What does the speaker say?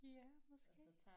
Ja måske